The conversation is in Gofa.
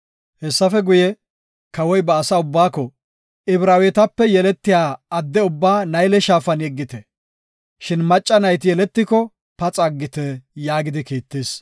Hessafe guye, kawoy ba asaa ubbaako, “Ibraawetape yeletiya adde ubbaa Nayle Shaafan yeggite; shin macca na7i yeletiko paxa aggite” yaagidi kiittis.